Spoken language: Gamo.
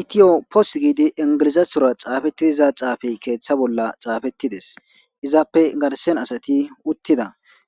Ethio posti gizo enigilizethora xaafetiza xaafeyi keththa bolla xaafetides.izappe garissanni asati uttida